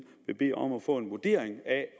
vil bede om at få en vurdering af